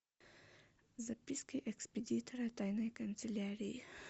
записки экспедитора тайной канцелярии